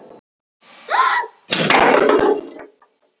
Frelsi mitt er mér afskaplega mikils virði.